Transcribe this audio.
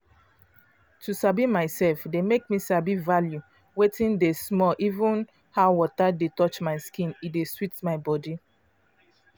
to sabi myself dey make me sabi value wetin dey small even how water dey touch my skin e dey sweet my body.